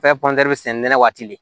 Fɛn sɛnɛ waati de